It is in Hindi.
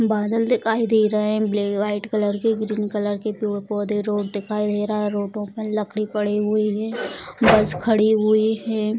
बादल दिखाई दे रहे हैं ब्लैक व्हाइट कलर के ग्रीन कलर के पेड़-पौधे रोड दिखाई दे रहा है रोडों पर लकड़ी पड़ी हुई है बस खड़ी हुई है।